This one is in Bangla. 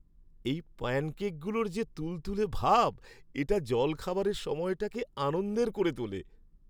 এই প্যানকেকগুলোর যে তুলতুলে ভাব, এটা জলখাবারের সময়টাকে আনন্দের করে তোলে।